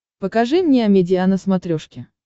покажи мне амедиа на смотрешке